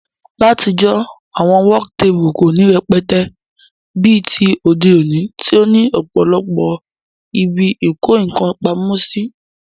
Látijó, àwon work table kò ní rẹpẹtẹ bí ti òde òní tí ó ní òpòlopò ibi ìko nkan pamósí